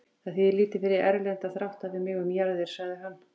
Það þýðir lítið fyrir Erlend að þrátta við mig um jarðir, sagði hann.